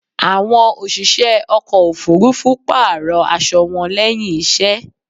Àwọn òṣìṣẹ́ ọkò òfurufú pààrò aṣo wọn lẹ́hìn iṣẹ́.